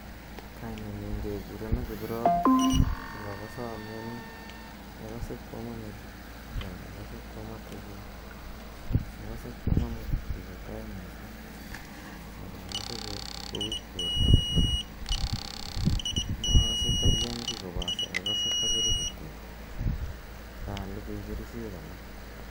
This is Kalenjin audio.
"Kainenyu kekurenan Kiprop. Ak akase amiani. Akase koama metit ak akase koama teket. Akase koama metit yupa tai missing' ak akase ko weak porta kora. Makase ta kiam ki kopate akase takiru kityo. Kaalugui kerichek alak."